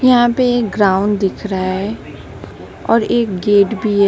यहां पे एक ग्राउंड दिख रहा है और एक गेट भी है।